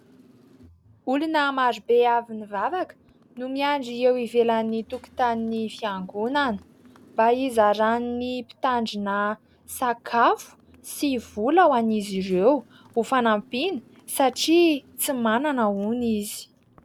Olona maro be avy nivavaka no miandry eo ivelan'ny tokotanin'ny fiangonana mba hizaran'ny mpitandrina sakafo sy vola ho an'izy ireo ho fanampiana satria tsy manana hono izy.